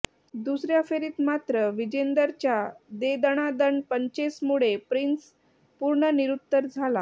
दुसऱया फेरीत मात्र विजेंदरच्या दे दणादण पंचेसमुळे प्रिन्स पूर्ण निरुत्तर झाला